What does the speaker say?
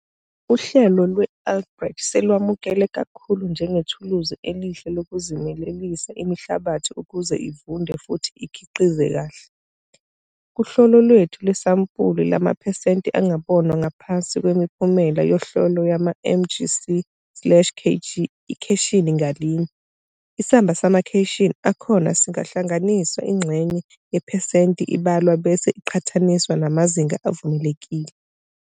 Uhlelo lwe-Albrecht selwamukelwa kakhulu njengethuluzi elihle lokuzimelelisa imihlabathi ukuze ivunde futhi ikhiqize kahle. Kuhlolo lwethu lwesampuli lamaphesenti angabonwa ngaphansi kwemiphumela yohlolo yamamgs slash kg ikheshini ngalinye. Isamba samacation akhona singahlanganiswa, ingxenye yephesenti ibalwa bese iqhathaniswa namazinga avumelekile.